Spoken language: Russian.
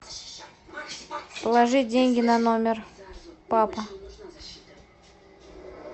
положи деньги на номер папа